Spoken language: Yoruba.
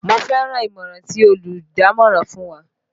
Mo fẹ́ràn ìmọ̀ràn tí olùdámọ̀ràn fún wa